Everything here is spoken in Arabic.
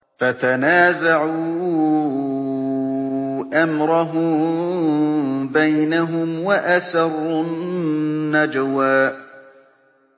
فَتَنَازَعُوا أَمْرَهُم بَيْنَهُمْ وَأَسَرُّوا النَّجْوَىٰ